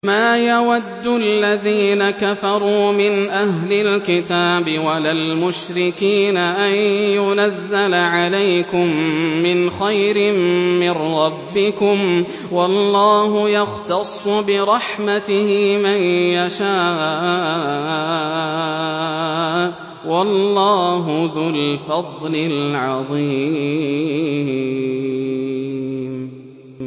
مَّا يَوَدُّ الَّذِينَ كَفَرُوا مِنْ أَهْلِ الْكِتَابِ وَلَا الْمُشْرِكِينَ أَن يُنَزَّلَ عَلَيْكُم مِّنْ خَيْرٍ مِّن رَّبِّكُمْ ۗ وَاللَّهُ يَخْتَصُّ بِرَحْمَتِهِ مَن يَشَاءُ ۚ وَاللَّهُ ذُو الْفَضْلِ الْعَظِيمِ